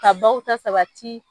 Ka baw ta sabati